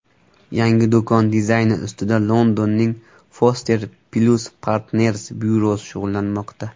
Yangi do‘kon dizayni ustida Londonning Foster + Partners byurosi shug‘ullanmoqda.